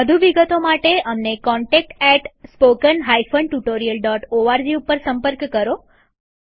વધુ વિગતો માટે અમને contactspoken tutorialorg ઉપર સંપર્ક કરો